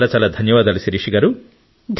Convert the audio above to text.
చాలా ధన్యవాదాలు శిరీష గారూ